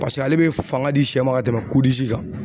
Paseke ale be fanga di sɛ ma ka tɛmɛ kan.